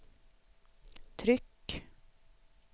tryck